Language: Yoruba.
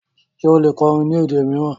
Ṣe o le kọrìn ni èdè miiran?